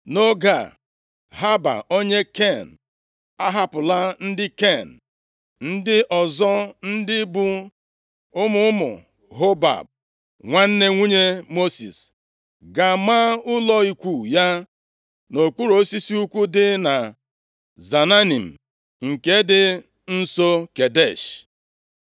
Nʼoge a, Heba, + 4:11 Ezi mmekọrịta nke dị nʼetiti ndị Izrel na ndị Ken, bidoro nʼoge Mosis. \+xt Ọpụ 3:1\+xt* Ndị Ken nyeere ụmụ Izrel aka imeri ndị iro ha, mgbe ha na-achọ inweta Kenan bụ ala nkwa ahụ \+xt Nkp 1:16\+xt* onye Ken, ahapụla ndị Ken ndị ọzọ, ndị bụ ụmụ ụmụ Hobab, nwanne nwunye Mosis gaa maa ụlọ ikwu ya nʼokpuru osisi ukwu dị na Zaananim, nke dị nso Kedesh.